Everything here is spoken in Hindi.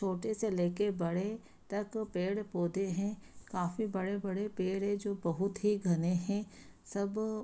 छोटे से लेके बड़े तक पेड़ पौधे हैं। काफ़ी बड़े-बड़े पेड़ हैं जो बहुत ही घने हैं। सब --